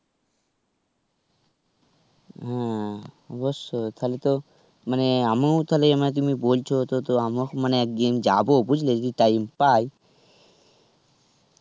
ও অবশ্যই তাহলে তো মানে আমু তাহলে তুমি বলছো তো আমুও একদিন যাবো বুঝলে যদি time পাই,